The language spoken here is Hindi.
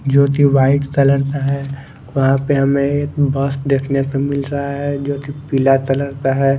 जोकि वाईट कलर का है वहा पे हमे एक बस देखने को मिल रहा है जोकि पिला कलर का है।